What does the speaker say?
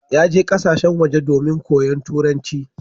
Ya je ƙasashen waje domin koyon turanci.